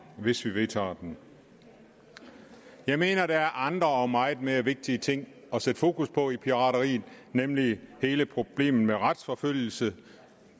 hvis vi vedtager den jeg mener at der er andre og meget mere vigtige ting at sætte fokus på ved pirateriet nemlig hele problemet med retsforfølgelse